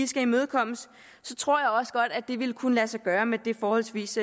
skal imødekommes så tror jeg også godt at det ville kunne lade sig gøre med det forholdsvis